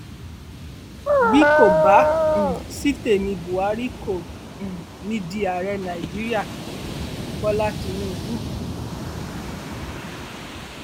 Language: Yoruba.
bí kò bá um sí tèmi buhari kò um ní í di ààrẹ nàíjíríàbọlá tínúbù